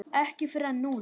Ekki fyrr en núna.